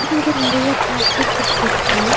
இங்க நெறய packed foods இருக்கு.